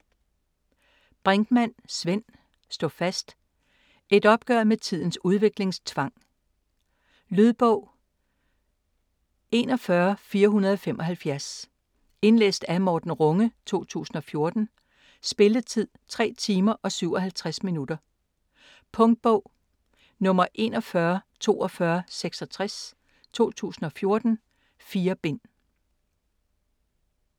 Brinkmann, Svend: Stå fast: et opgør med tidens udviklingstvang Lydbog 41475 Indlæst af Morten Runge, 2014. Spilletid: 3 timer, 57 minutter. Punktbog 414266 2014. 4 bind.